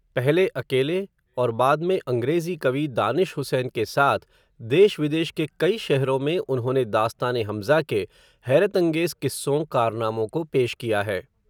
पहले अकेले, और बाद में अंग्रेज़ी कवि, दानिश हुसैन के साथ, देश विदेश के कई शहरों में, उन्होंने दास्तान ए हम्ज़ा के, हैरतंगेज़ किस्सों, कारनामों को पेश किया है